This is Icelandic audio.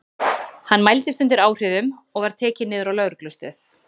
Hann mældist undir áhrifum áfengis og var tekinn niður á lögreglustöð.